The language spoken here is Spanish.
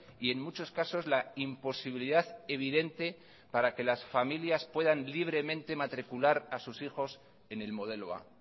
y en muchos casos la imposibilidad evidente para que las familias puedan libremente matricular a sus hijos en el modelo a